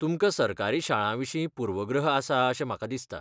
तुमकां सरकारी शाळांविशीं पूर्वग्रह आसा अशें म्हाका दिसता.